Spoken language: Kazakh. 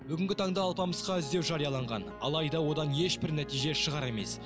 бүгінгі таңда алпамысқа іздеу жарияланған алайда одан ешбір нәтиже шығар емес